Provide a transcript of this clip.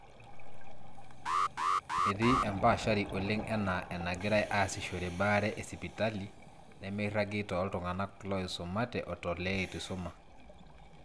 etii empaashari oleng enaa enagirai aasishore baare esipitale nemeiragi tooltung'anak looisumate o tooleitu eisuma